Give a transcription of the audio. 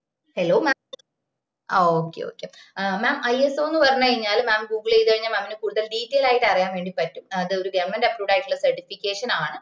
അ hellomam ആ okay okaymamISO എന്ന് പറഞ് കഴിഞ്ഞാല് mam ഗൂഗിൾ ചെയ്ത് കഴിഞ്ഞാ mam ന് കൂടുതല് detail ആയി അറിയാൻ വേണ്ടി പറ്റും ഇത് ഒരു ഗവണ്മെന്റ് approved ആയിട്ടുള്ള certification ആണ്